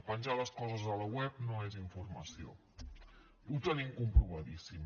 penjar les coses a la web no és informació ho tenim comprovadíssim